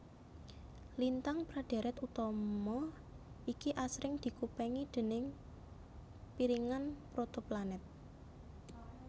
Lintang pra dhèrèt utama iki asring dikupengi déning piringan protoplanet